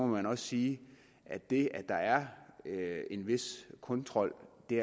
man også sige at det at der er er en vis kontrol